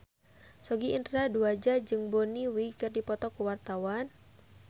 Sogi Indra Duaja jeung Bonnie Wright keur dipoto ku wartawan